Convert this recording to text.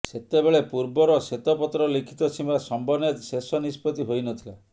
ସେତେବେଳେ ପୂର୍ବର ଶ୍ୱେତପତ୍ର ଲିଖିତ ସୀମା ସମ୍ବନେ୍ଧ ଶେଷ ନିଷ୍ପତ୍ତି ହୋଇନଥିଲା